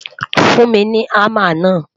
fún mí ní hamá na